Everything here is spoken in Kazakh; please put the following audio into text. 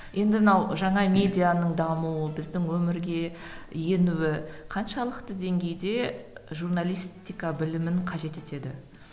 енді мынау жаңа медианың дамуы біздің өмірге енуі қаншалықты деңгейде журналистика білімін қажет етеді